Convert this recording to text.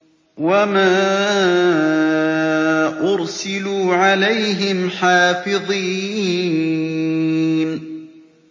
وَمَا أُرْسِلُوا عَلَيْهِمْ حَافِظِينَ